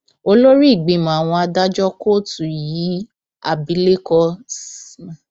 olórí ìgbìmọ àwọn adájọ kóòtù yìí abilékọ sm